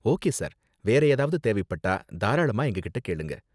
Okay sir. வேற ஏதாவது தேவைப்பட்டா தாராளமா எங்ககிட்ட கேளுங்க.